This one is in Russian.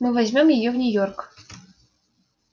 мы возьмём её в нью-йорк